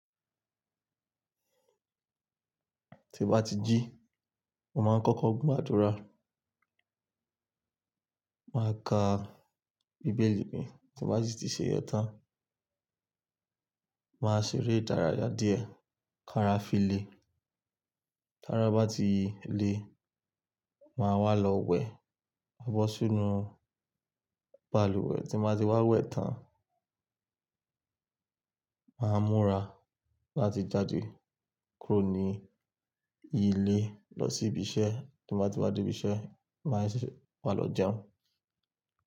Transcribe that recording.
Tí mo bá ti jí, mo máa ń kọ́kọ́ gba àdúrà, màá ka bíbélì mi tí bá sì ti ṣe iyen tán, màá ṣeré ìdárayá díẹ̀, kára fi le, kára bá ti le, màá wà lọ wẹ̀, bọ́ sínú balùwẹ̀ tí mo bá ti wá wẹ̀ tán, màá múra láti jáde kúrò ní ilé lọ sí ibi iṣẹ́ tí mo bá ti wá dé ibi iṣẹ́, màá sì wá lọ jẹun.